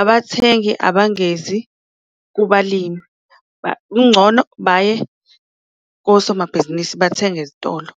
Abathengi abangezi kubalimi kungcono baye kosomabhizinisi bathenge ezitolo.